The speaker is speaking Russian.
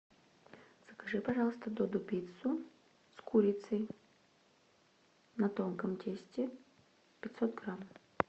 закажи пожалуйста додо пиццу с курицей на тонком тесте пятьсот грамм